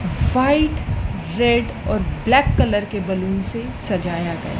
white red और black colour के balloon से सजया गया--